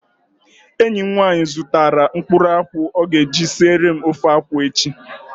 Enyi m nwaanyị zụtara mkpụrụ akwụ ọ ga-eji siere m ofe akwụ echi